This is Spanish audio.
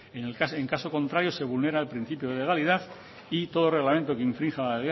en caso contrario se vulnera el principio de legalidad y todo reglamento que infrinja la